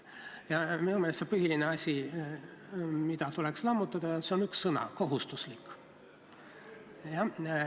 Ja minu meelest on põhiline asi, mida tuleks lammutada, üks sõna: "kohustuslik".